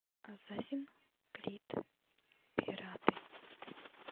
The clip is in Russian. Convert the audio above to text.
ассасин крид пираты